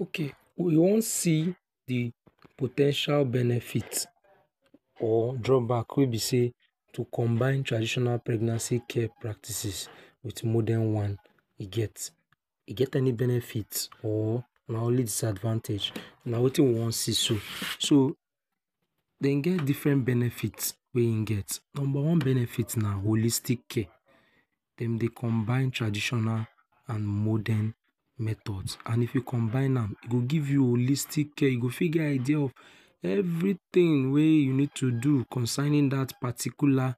Okay we wan see de po ten tial benefits of or drawback wey be sey to combine traditional health care practices with modern one e get any benefit or na only disadvantage, na wetin we wan see so. So dem get different benefits wey im get. Number one benefit na wholistic care. Dem dey combine traditional and modern methods and if you combine am e go give you wholistic care and e fit get idea of everything wey you need to do concerning that particular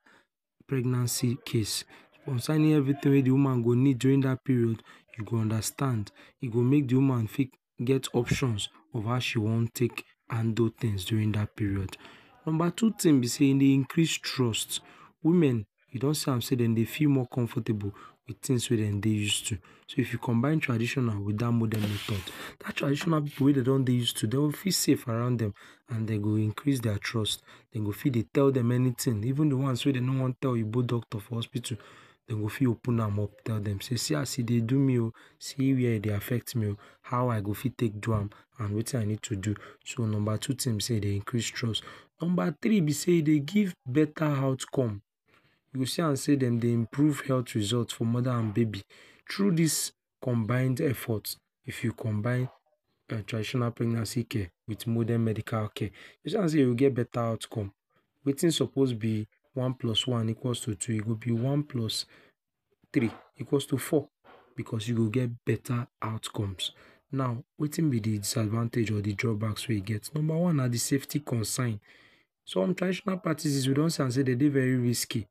pregnancy case. Concerning everything wey dem woman go need during that period, you go understand. E go make de woman fit get options of how e wan take handle things during that pregnancy period. Number two thing be sey e dey increase trust. Women, e don see am sey dem dey dey comfortable with things wey dem dey use to. So if you combine so if you combine traditional and morden method, that tradition method wey dem do dey used to dey will feel safe around dem and dem go increase their trust dey go fit dey tell dem anything even de ones wey dey no wan tell you oyinbo doctors for hospital dey go fit open am up tell dem sey see as e dey do me oh see wey e dey affect me oh how I go even fit take do am and wetin I need to do. So number two things be sey e dey increase trust. Number three be sey e dey give beta outcome. You go see am sey dem dey improve health result for mother and baby through this combined effort, If you combine traditional health pregnancy care with morden medical care e go see am sey you go get beta outcome. Wetin suppose be one plus one equals to two go be one plus three equals to four because you go get better outcomes. Now wetin be de disadvantage or de draw backs we im get; Number one: na de safety concern some traditional practices we don see am sey dem dey very risky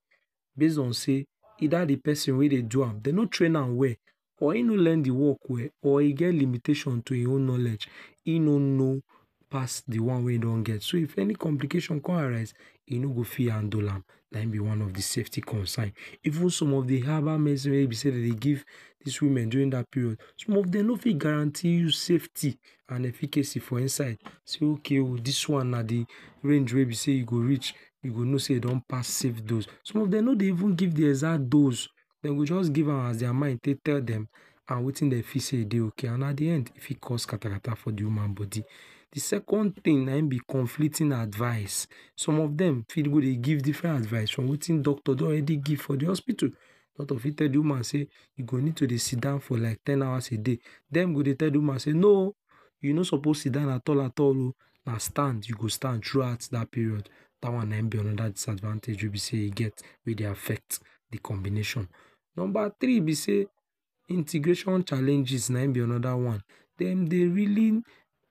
based on sey either de person dey do am dey no train am well or im no learn de work well or e get im own limitations to im own knowledge im no know pass de one wey im don get. So if any complication comes arise, e no go fit handle am na im be one of de safety concern. Even some of de herbal medicine wey be sey na im dem dey give these woman during that period some of dem no fit guarantee you safety and efficacy for inside say okay oh, this one na de range we you go know sey e reach, you go know sey e don pass safe dose. Some of dem no dey even give exact dose, dem go just get give am as their mind take tell dem and wetin dem feel sey e dey okay and at de end e fit cause kasatarata for de woman body. De second thing na im be conflicting advise. Some of dem fit go dey give different advice from wetin doctor don already give for de hospital. Doctor fit tell de woman sey, you go need to sit down for at least ten hours a day, dem go dey tell de woman say "no oh, you no suppose sidon at all at all oh, na stand you go stand throughout that period. Dat wan na im be another disadvantage wey e be sey e get wey dey affect de combination. Number three be sey, integration challenges na im be another one. Dem dey really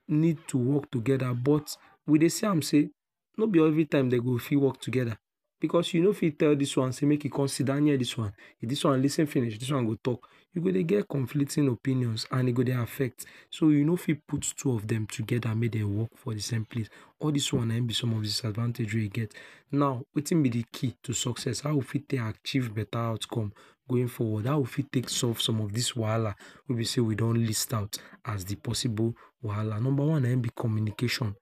need to work together but we dey see am sey no be every time dem go fit work together because you not fit tell this one say make e come sidon near this one dey lis ten finish, this one go talk. E go dey get conflicting opinions and e go dey affect. So you no fit put two of dem together make dem dey work for de same place. All these one na im be some of de disadvantage wey e get. Now wetin be de key to success? How we go fit take achieve give beta outcome put forward. How we fit take solve some of these wahala wey be sey we don list out as de possible wahala. Number one na im be communication,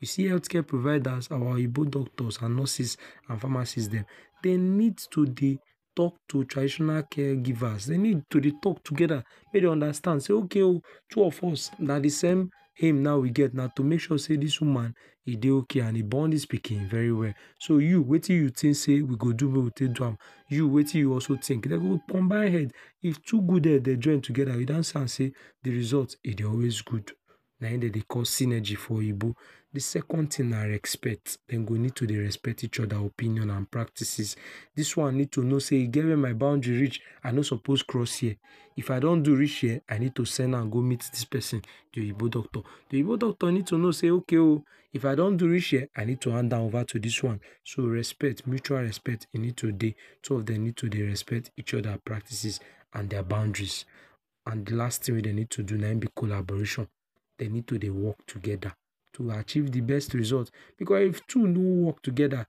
you see health care providers, our oyinbo doctors and nurses and pharmacist dem, dey need to dey talk to all these traditional care givers. Dey need to dey talk together make dem understand okay oh, two of us na de same aim wey we get wey be sey this woman na to make sure sey dey okay and e born this pikin very well. So you wetin you think sey we go do wey we go take do am, you wetin you also think. dem we combine head, if two good head join together, we don see am sey de result e dey always good. Na im dem dey call synergy of oyinbo. De second thing na respect: dem go need to dey respect each other opinion and practices. This one need to know sey e get wey my boundary reach I no suppose cross here. If I don do am reach here, I need to send am go meet this person, de oyinbo doctor. De oyinbo Doctor needs to know sey okay oh if I don do am reach here, I need to hand her over to this one. So respect, mutual respect need to dey. Two of dem need to dey respect each other practices and boundaries, and di last thing wey dey need to do na be collaboration. Dey need to dey work together to achieve de best results. Because if two no work together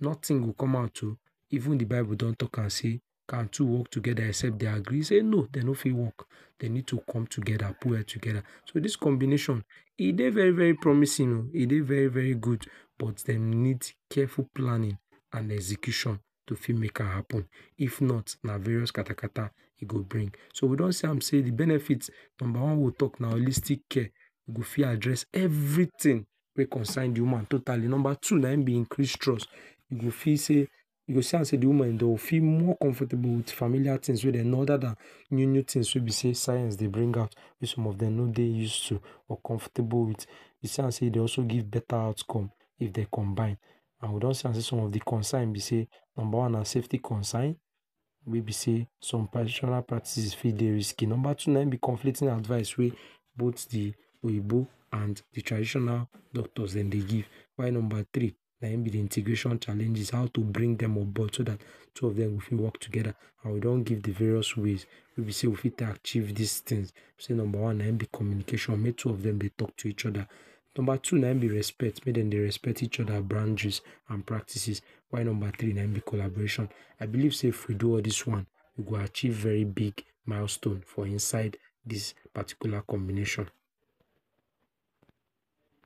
nothing go come out oh. Even de bible don talk am say can two work together except dey agree e say no dey no fit work. Dey need to come together, put head together. So this combination e dey very very promising oh e dey very very good but dem need careful planning and execution to fit make am happen. If not na various katakata e go bring. So we don see am sey dem benefits, number one wey we talk na wholistic care; e go fit address everything wey concern de woman and totally. Number two na im be increase trust. E go fit sey e go see am sey de woman go feel more comfortable with familiar things wey dem know other than new new things wey be sey science dey bring out wey some of dem no dey used to or comfortable with. E see am sey e dey also give beta option if dem combine and we don see am sey some of de concern be sey; Number one. Safety concern, wey be sey some traditional practices fit dey risky. Number two, na im be conflicting advice wey both de oyinbo and de traditional doctors dem dey give. While number three, na im be de integration challenges; how to bring dem onboard so that would of dem go fit work together and we don give de various ways wey be sey we fit take achieve these things. Say number one na im be communication: make two of dem dey talk to each other. Number two na im be respect. Make dem dey respect each other boundaries and practices while number three na im be e collaboration. I believe sey if we do all these one, e go achieve very big milestone for inside this particular combination.